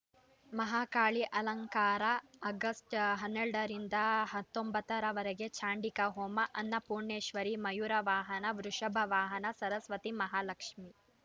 ಮಹಾಕಾಳಿ ಅಲಂಕಾರ ಅಗ್ಸ್ಟ್ ಹನ್ನೆರಡ ರಿಂದ ಹತ್ತೊಂಬತ್ತ ರವರೆಗೆ ಚಂಡಿಕಾ ಹೋಮ ಅನ್ನಪೂಣೇಶ್ವರಿ ಮಯೂರ ವಾಹನ ವೃಷಭ ವಾಹನ ಸರಸ್ವತಿ ಮಹಾಲಕ್ಷ್ಮೇ